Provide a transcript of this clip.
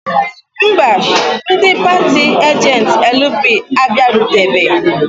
Mba, ndị paatị ajentị LP abịarutebeghị.